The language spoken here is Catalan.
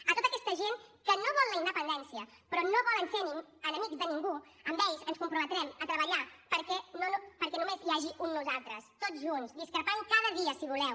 a tota aquesta gent que no vol la independència però no volen ser enemics de ningú amb ells ens comprometrem a treballar perquè només hi hagi un nosaltres tots junts discrepant cada dia si voleu